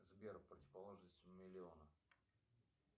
сбер противоположность миллиона